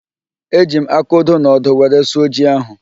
Eji m aka ódō na ọ́dụ́ were sụọ ji ahụ